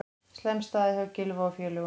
Slæm staða hjá Gylfa og félögum